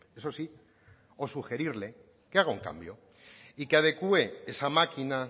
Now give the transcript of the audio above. eso sí o sugerirle que haga un cambio y que adecue esa maquina